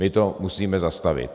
My to musíme zastavit.